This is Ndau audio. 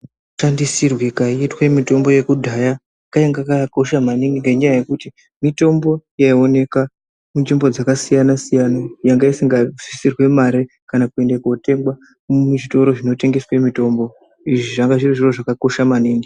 Kamu shandisirwo kaitwe mitombo yekudhaya kainge kakakosha maningi ngenyaya yekuti mitombo yaioneka munzvimbo dzakasiyana siyana yanga isingabvisirwi mare kana kuenda kundotengwa muzvitoro zvinotengesa mitombo izvi zvanga zviri zviro zvakakosha maningi.